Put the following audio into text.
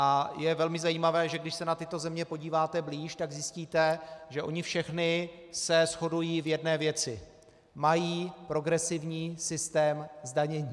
A je velmi zajímavé, že když se na tyto země podíváte blíž, tak zjistíte, že ony všechny se shodují v jedné věci - mají progresivní systém zdanění.